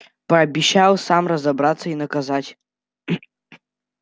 пообещал сам разобраться и наказать